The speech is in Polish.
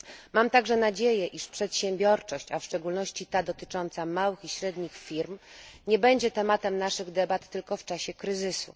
Mam także nadzieję, iż przedsiębiorczość, a w szczególności ta dotycząca małych i średnich firm nie będzie tematem naszych debat tylko w czasie kryzysu.